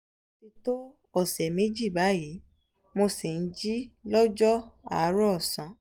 ó ti to ọsẹ méjì báyìí mo sì jí lọ́jọ́ àárọ̀ ọ̀sán